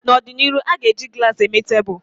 N'ọdịnihu, a ga-eji glaasi eme tebụl